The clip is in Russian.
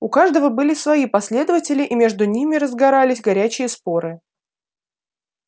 у каждого были свои последователи и между ними разгорались горячие споры